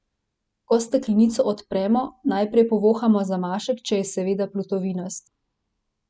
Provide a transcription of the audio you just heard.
Ko steklenico odpremo, najprej povohamo zamašek, če je seveda plutovinast.